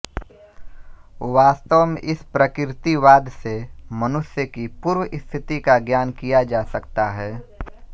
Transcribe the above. वास्तव में इस प्रकृतिवाद से मनुष्य की पूर्व स्थिति का ज्ञान किया जा सकता है